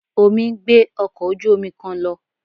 Omi ń gbé ọkọ̀ ojú-omi kan lọ